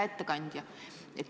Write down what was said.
Hea ettekandja!